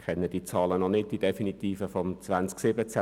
Ich kenne die definitiven Zahlen des Jahres 2017 noch nicht.